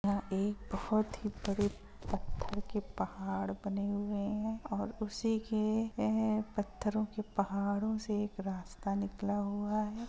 यह एक बहुत ही बड़े पत्थर के पहाड़ बने हुए है और उसी के पथरो के पहाड़ो से एक रास्ता निकला हुआ है।